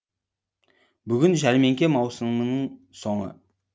бүгін жәрмеңке маусымының соңы